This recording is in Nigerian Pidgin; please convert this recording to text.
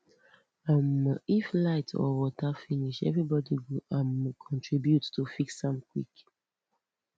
um if light or water finish everybody go um contribute to fix am quick